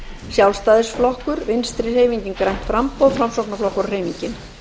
sjálfstæðisflokkur vinstri hreyfingin grænt framboð framsóknarflokkur og hreyfingin